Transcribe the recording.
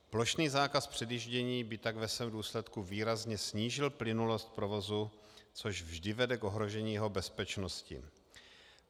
Plošný zákaz předjíždění by tak ve svém důsledku výrazně snížil plynulost provozu, což vždy vede k ohrožení jeho bezpečnosti.